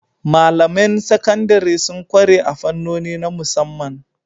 Malamain Sakandare sun kware a fannoni na musamman